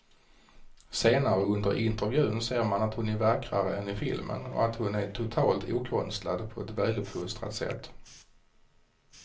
Senare under intervjun ser man att hon är vackrare än i filmen och att hon är totalt okonstlad på ett väluppfostrat sätt.